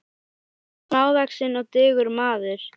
Með þeim er smávaxinn og digur maður.